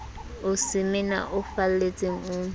o semena o felletseng o